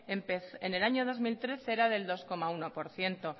en el año dos mil trece era del dos coma uno por ciento